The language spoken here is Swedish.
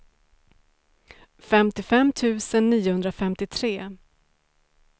femtiofem tusen niohundrafemtiotre